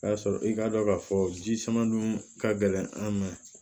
O y'a sɔrɔ i k'a dɔn k'a fɔ ji sama dun ka gɛlɛn an ma